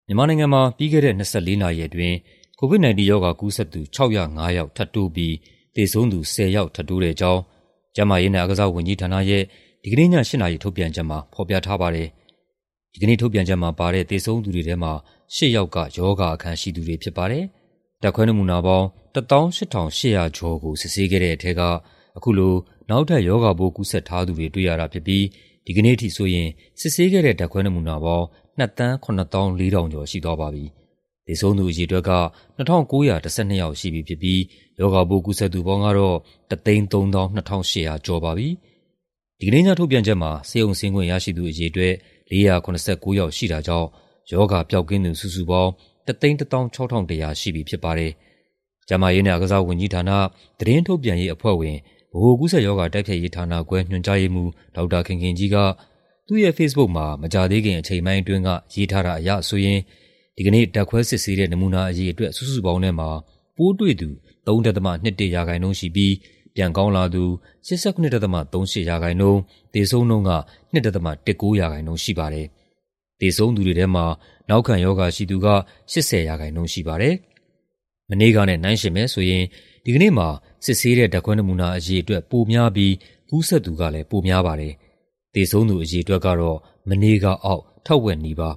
မြန်မာနိုင်ငံမှာ ပြီးခဲ့တဲ့ ၂၄ နာရီအတွင်း COVID-19 ရောဂါကူးစက်သူ ၆၀၅ ယောက် ထပ်တိုးပြီး သေဆုံးသူ ၁၀ ယောက် ထပ်တိုးတဲ့အကြောင်း ကျန်းမာရေးနဲ့ အားကစားဝန်ကြီးဌာနရဲ့ ဒီကနေ့ည ၈ နာရီ ထုတ်ပြန်ချက်မှာ ဖော်ပြထားပါတယ်။ ဒီနေ့ထုတ်ပြန်ချက်မှာပါတဲ့ သေဆုံးသူတွေထဲမှာ ၈ ယောက်က ရောဂါအခံရှိသူတွေဖြစ်ပါတယ်။ ဓာတ်ခွဲနမူနာပေါင်း ၁၈,၈၂၀ ခုကို စစ်ဆေးခဲ့တဲ့ထဲက အခုလို နောက်ထပ် ရောဂါပိုးကူးစက်ထားသူတွေ တွေ့ရတာဖြစ်ပြီး ဒီကနေ့အထိဆိုရင် စစ်ဆေးခဲ့တဲ့ ဓာတ်ခွဲနမူနာပေါင်း ၂,၀၇၄,၅၇၇ ခု ရှိသွားပြီဖြစ်ပါတယ်။ သေဆုံးသူအရေအတွက်က ၂,၉၁၂ ယောက်ရှိပြီဖြစ်ပြီး ရောဂါပိုး ကူးစက်သူပေါင်းကတော့ ၁၃၂,၈၆၅ ယောက် ရှိသွားပါပြီ။ ဒီကနေ့ညထုတ်ပြန်ချက်မှာ ဆေးရုံဆင်းခွင့်ရရှိသူ အရေအတွက် ၄၇၉ ယောက်ရှိပြီး ရောဂါပျောက်ကင်းသူ စုစုပေါင်းကတော့ ၁၁၆,၁၀၀ ယောက် ရှိသွားပါပြီ။ ကျန်းမာရေးနဲ့အားကစားဝန်ကြီးဌာန၊ သတင်းထုတ်ပြန်ရေးအဖွဲ့ဝင်၊ ဗဟိုကူးစက်ရောဂါ တိုက်ဖျက်ရေးဌာနခွဲ ညွှန်ကြားရေးမှူး ဒေါက်တာခင်ခင်ကြီးက သူ့ရဲ့ဖေ့စ်ဘုတ်မှာ မကြာသေးခင် အချိန်ပိုင်းအတွင်းက ရေးထားတာအရဆိုရင် ဒီကနေ့ ဓာတ်ခွဲစစ်ဆေးတဲ့ နမူနာအရေအတွက် စုစုပေါင်းထဲမှာ ပိုးတွေ့သူ ၃.၂၁% ရှိပြီး ပြန်ကောင်းလာသူ ၈၇.၃၈% ၊ သေဆုံးနှုန်းက ၂.၁၉% ရှိပါတယ်။ သေဆုံးသူတွေထဲမှာ နောက်ခံရောဂါရှိသူက ၈၀% ရှိပါတယ်။ မနေ့ကနဲ့ နှိုင်းယှဉ်မယ်ဆိုရင် ဒီကနေ့မှာ စစ်ဆေးတဲ့ ဓာတ်ခွဲနမူနာအရေအတွက် ပိုများပြီး ကူးစက်သူကလည်း ပိုများပါတယ်။ သေဆုံးသူအရေအတွက်ကတော့ မနေ့ကအောက် ထက်ဝက်နီးပါ